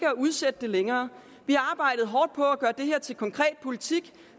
at udsætte det længere vi har arbejdet hårdt på at gøre det her til konkret politik